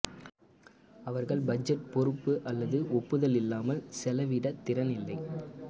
அவர்கள் பட்ஜெட் பொறுப்பு அல்லது ஒப்புதல் இல்லாமல் செலவிட திறன் இல்லை